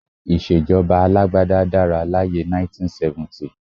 Ìṣèjọba alágbádá dára láyé ẹ 1970